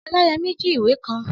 Ọláyẹmí jí ìwé kan